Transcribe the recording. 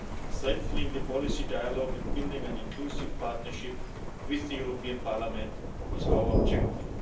Strengthening the policy dialogue and building an inclusive partnership with the European Parliament is our objective.